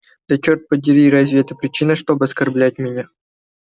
да чёрт подери разве это причина чтобы оскорблять меня